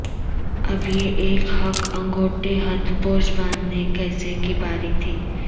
اب یہ ایک ہک انگوٹھے ہتھ پوش باندھنے کیسے کی باری تھی